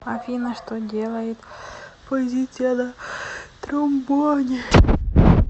афина что делает позиция на тромбоне